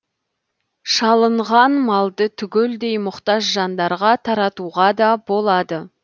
шалынған малды түгелдей мұқтаж жандарға таратуға да болады